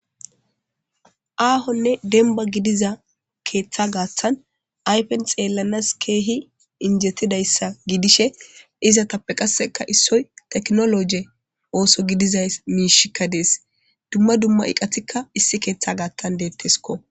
aahonne denba gidiza keeththa gaaththan ayfen xeellanas keehi injetidayssa gidishe izatappe qasseka issoy teknoloje ooso gidizay miishikka dees dumma dumma iqatikka issi keeththa gaathan deettesko